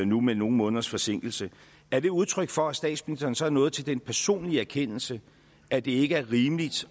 nu med nogle måneders forsinkelse er det udtryk for at statsministeren er nået til den personlige erkendelse at det ikke er rimeligt